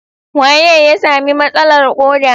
Waye ya sami matsalar ƙoda?